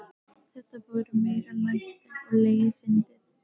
Þetta voru meiri lætin og leiðindin.